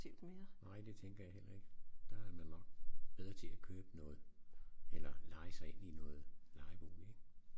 Nej det tænker jeg heller ikke der er man nok bedre til at købe noget eller leje sig ind i noget lejebolig ik